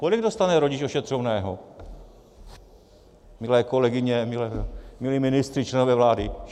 Kolik dostane rodič ošetřovného, milé kolegyně, milí ministři, členové vlády?